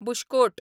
bush coat